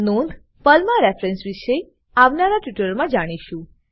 નોંધ પર્લમાં રેફેરેન્સ વિષે આવનારા ટ્યુટોરીયલમાં જાણીશું